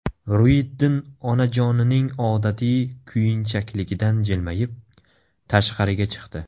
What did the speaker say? Ruyiddin onajonining odatiy kuyinchakligidan jilmayib, tashqariga chiqdi.